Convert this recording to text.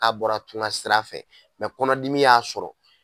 N'a bɔra tunga sira fɛ mɛ kɔnɔdimi y'a sɔrɔ